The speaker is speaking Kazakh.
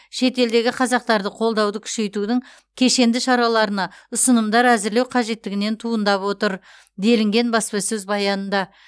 шетелдегі қазақтарды қолдауды күшейтудің кешенді шараларына ұсынымдар әзірлеу қажеттігінен туындатып отыр делінген баспасөз баянында